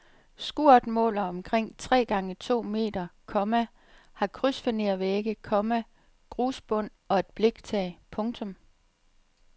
Skuret måler omkring tre gange to meter, komma har krydsfinervægge, komma grusbund og et bliktag. punktum